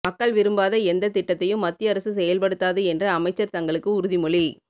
மக்கள் விரும்பாத எந்தத் திட்டத்தையும் மத்திய அரசு செயல்படுத்தாது என்று அமைச்சர் தங்களுக்கு உறுதிமொழி